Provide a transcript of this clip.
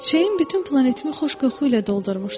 Çiçəyin bütün planetimi xoş qoxu ilə doldurmuşdu.